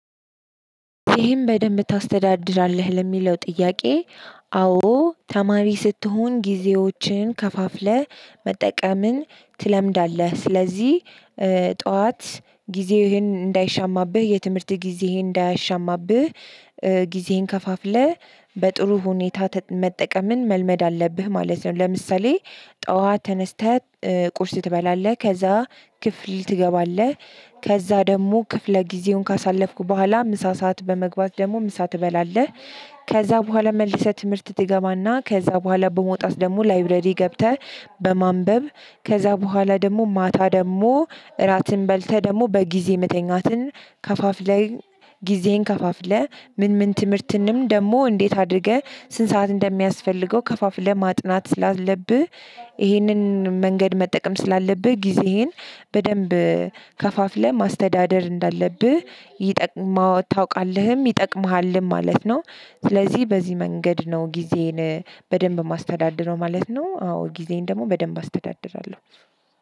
ይሄም በደንብ ታስተዳድራለህ ለሚለው ጥያቄ አዎ ተማሪ ስትሆን ጊዜዎችን ከፋፍለህ መጠቀምን ትለምዳለህ ስለዚህ ጠዋት ጊዜህን እንዳይሻማብህ የትምህርት ጊዜህን እንዳይሻማብህ ጊዜህን ከፋፍለህ በጥሩ ሁኔታ መጠቀምን መልመድ አለብህ ማለት ነው። ለምሳሌ ጠዋት ተነስተህ ቁርስ ትበላለህ ከዛ ክፍል ትገባለህ ከዛ ደግሞ ክፍለ ጊዜውን ካሳለፍኩ በኋላ ምሳ ሰዓት በመግባት ደግሞ ምሳ ትበላለህ። ከዛ በኋላ መልሰህ ትምህርት ትገባና ከዛ በኋላ በመውጣት ደግሞ ላይብረሪ ገብተህ በማንበብ ከዛ በኋላ ደግሞ ማታ ደግሞ እራትን በልተህ ደግሞ በጊዜ መተኛትን ከፋፍለህ ጊዜህን ከፋፍለህ ምን ምን ትምህርትንም ደግሞ እንዴት አድርገህ ስንት ሰዓት እንደሚያስፈልገው ከፋፍለህ ማጥናት ስላለብህ። ይህንን መንገድ መጠቀም ስላለብህ ጊዜህን በደንብ ከፋፍለህ ማስተዳደር እንዳለብህ ይጠቅማው ታውቃለህም ይጠቅምሃልም ማለት ነው። ስለዚህ በዚህ መንገድ ነው ጊዜዬን በደንብ ማስተዳድረው ማለት ነው። አዎ ጊዜን ደግሞ በደንብ አስተዳድራለሁ።